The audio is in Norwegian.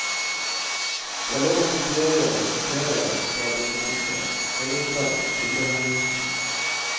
Det er lov å kopiere og sitere fra dokumentet, forutsatt kildehenvisning.